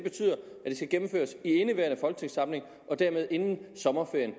skal gennemføres i indeværende folketingssamling og dermed inden sommerferien